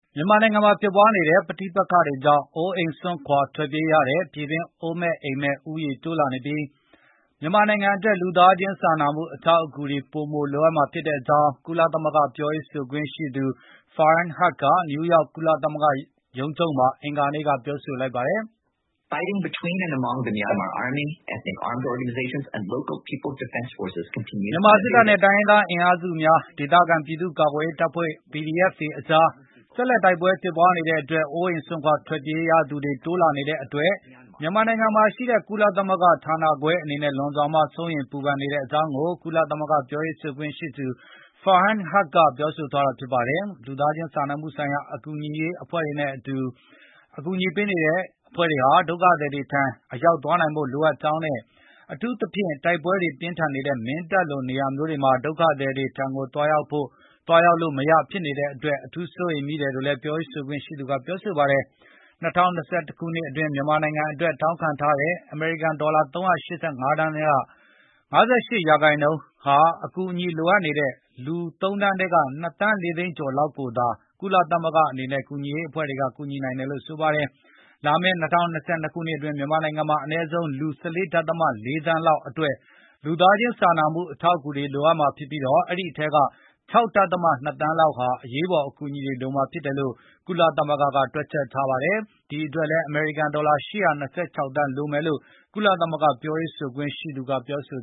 မြန်မာနိုင်ငံမှာဖြစ်ပွားနေတဲ့ ပဋိပက္ခတွေကြောင့် အိုးအိမ်စွန့်ခွါထွက်ပြေးရတဲ့ ပြည်တွင်းအိုးမဲ့ အိမ်မဲ့ဦးရေတိုးလာနေပြီး၊ မြန်မာနိုင်ငံအတွက်လူသားခြင်းစာနာမှုအထောက်အကူတွေပိုမိုလို အပ်မှာဖြစ်ကြောင်း ကုလသမဂ္ဂက ပြောရေးဆိုခွင့်ရှိသူ Farhan Haq က နယူယောက် ကုလသမဂ္ဂရုံးချုပ်မှာ အင်္ဂါနေ့ကပြောဆိုလိုက်ပါတယ်။ မြန်မာစစ်တပ်နဲ့ တိုင်းရင်းသားအင်အားစုများ၊ ဒေသခံ ပြည်သူကာကွယ်ရေးတပ်ဖဲ့ွ PDF တွေ အကြား တိုက်ပွဲတွေဆက်လက်ဖြစ်ပွားနေတဲ့အတွက်၊ အိုးအိပ်စွန့်ခွါထွက်ပြေးရသူတွေတိုး လာနေတဲ့အတွက် မြန်မာနိုင်ငံမှာရှိတဲ့ကုလသမဂ္ဂဌာနခွဲအနေနဲ့ လွန်စွာစိုးရိမ်ပူပန်နေကြောင်း ကုလသမဂ္ဂ ပြောရေးဆိုခွင့်ရှိသူ Farhan Haq ကပြောဆိုသွားတာပါ။ လူသားခြင်းစာနာမှုဆိုင်ရာကူညီရေးအဖွဲ့တွေအနေနဲ့ အကူအညီတွေပေးပို့ဖို့ ဒုက္ခသည် တွေထံသွားရောက်နိုင်ဖို့လိုအပ်ကြောင်းနဲ့၊ အထူးသဖြင့် တိုက်ပွဲတွေပြင်းထန်နေတဲ့ မင်းတပ် လို နေရာမျိုးတွေမှာ ဒုက္ခသည်တွေထံကို သွားရောက်လို့မရဖြစ်နေတဲ့အတွက် အထူးစိုးရိမ်မိတယ်လို့လည်း ပြောရေးဆိုခွင့်ရှိသူကပြောဆိုပါတယ်။ ၂၀၂၁ ခုနှစ်အတွင်း မြန်မာနိုင်ငံအတွက်တောင်းခံထားတဲ့ ဒေါ်လာ ၃၈၅ သန်းထဲက ၅၈ ရာခိုင်နှုန်းဟာ အကူအညီလိုအပ်နေတဲ့ လူ ၃ သန်းထဲက ၂ သန်း ၄ သိန်းကျော်လောက်ကို သာ ကုလသမဂ္ဂနဲ့ကူညီရေးအဖွဲ့တွေက ထောက်ပံနိုင်မှာဖြစ်တယ်လို့ဆိုပါတယ်။ လာမယ့် ၂၀၂၂ ခုနှစ်အတွင်း မြန်မာနိုင်ငံမှာ အနည်းဆုံး လူ ၁၄ ဒဿမ ၄ သန်းလောက် အတွက်လူသားခြင်းစာနာမှုအကူအညီတွေလိုအပ်မှာဖြစ်ပြီး အဲဒိအထဲက ၆ ဒဿမ ၂ သန်းလောက်ဟာ အရေးပေါ်အကူအညီတွေလုပ်မှာဖြစ်တယ်လို့ ကုလသမဂ္ဂကတွက်ချက် ထားပါတယ်။ ဒီ အတွက် အမေရိကန်ဒေါ်လာ ၈၂၆ သန်းလိုအပ်မယ်လို့ ကုသမဂ္ဂကပြောရေး ဆိုခွင့်ရှိသူကပြောဆို